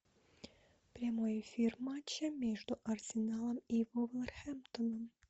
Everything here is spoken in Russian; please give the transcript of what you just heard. прямой эфир матча между арсеналом и вулверхэмптоном